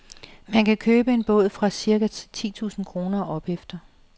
Man kan købe en båd fra cirka ti tusind kroner og opefter.